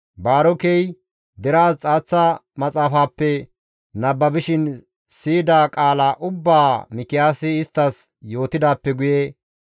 Baarokey deraas xaaththa maxaafappe nababishin siyida qaala ubbaa Mikiyaasi isttas yootidaappe guye,